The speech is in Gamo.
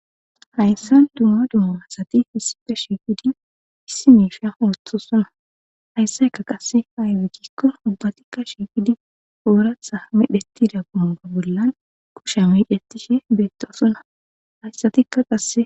hayssan dumma dumo masati hisipa shiifidi issi miisha ooththosuna hayssaykka qasse haywegikko ubbatikka shiifidi ooratha medheti dapumuga bollan kusha miicetishe beettosuna hayssatikka qasse